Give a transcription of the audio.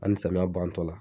An ni samiya bantɔ la.